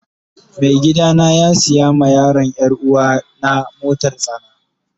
Mai gida na ya siya ma yaron yaruwana motar tsana.